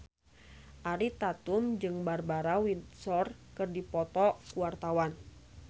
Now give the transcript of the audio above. Ariel Tatum jeung Barbara Windsor keur dipoto ku wartawan